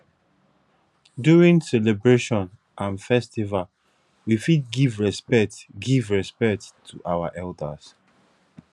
during celebration and festival we fit give respect give respect to our elders